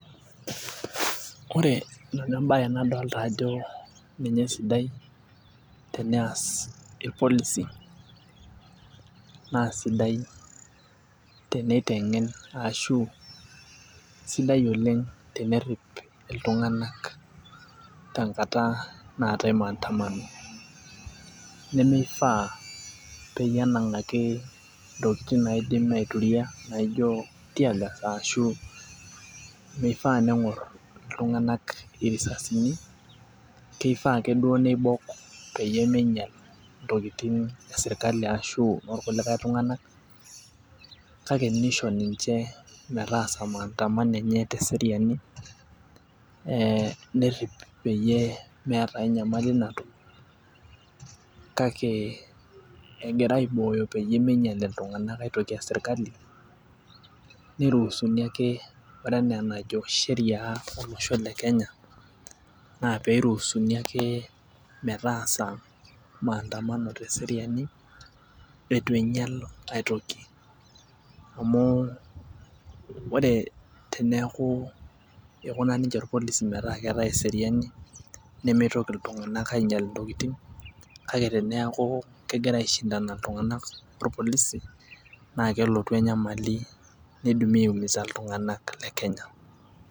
Ore nanu embaye nadolta ajo ninye esidai teneyas irpolisi naa sidai teneiteng'en ashu sidai oleng' tenerrip iltung'ana tenkata naatae maandamano nemeifaa peyie enang'aki intokiting' naidim aituria naijo teargas ashu meifaa neng'orr iltung'anak irisasini keifaa akeduo neibok peyie meinyial intokiting' esirkali ashu inorkulikae tung'anak kake neisho ninche metaasa maandamano enye teseriani eh nerrip peyie meeta ae nyamali natum kake egira aibooyo peyie meinyial iltung'anak aitoki esirkali neirusuni ake ore enaa enajo sheria olosho le kenya naa peirusuni ake metaasa maandamano teseriani etu einyial aetoki amu wore teneaku ikuna ninche irpolisi metaa keetae eseriani nemeitoki iltung'anak ainyial intokiting' kake teneaku kegira aishindana iltung'anak orpolisi naa kelotu enyamali neidimi aeumiza iltung'anak le kenya.